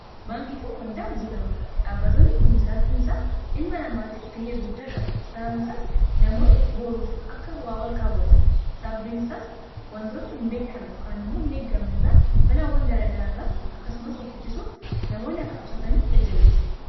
baangii fi waldaa hojie gamtaa dhaabbatoonni kun jiraachuu isaa ilma namaatiif ga'ee guddaa qabu sababni isaas namoonni booruuf akka waawal kaawwatan sababbin isaas wantoota hin beekamne kaan immoo hin eeggamnerraa bala awwan galaagaraarraa akkasumas offitisuuf namoonni akka qusataniif jajjabessa